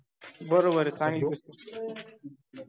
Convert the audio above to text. बरोबर ए चांगली